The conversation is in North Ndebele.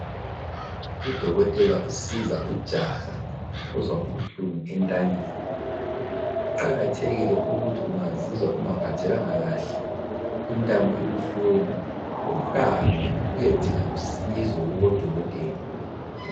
Udokotela usiza ujaha ozwa ubuhlungu entanyeni. Kuqakathekile ukuthi ungazizwa ungaphathekanga kuhle intamo ibuhlungu, uhambe uyedinga usizo kubodokotela.